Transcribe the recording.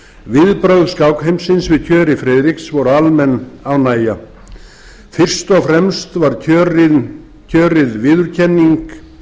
viðbrögð skákheimsins við kjöri friðriks voru almenn ánægja fyrst og fremst var kjörið viðurkenning